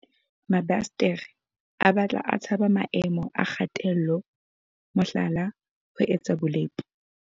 Mabasetere a batla a tshaba maemo a kgatello, mohlala, ho etsa bolepo.